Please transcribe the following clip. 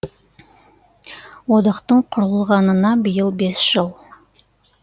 одақтың құрылғанына биыл бес жыл